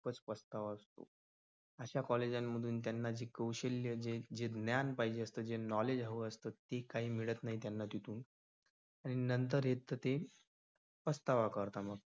पस्तावतात अशा college मधून त्यांना जी कौशल्य जे ज्ञान पाहिजे असत. जे knowledge हव असतं ते काही मिळत नाही त्यांना तिथून आणि नंतर येत ते पचतावा करतात.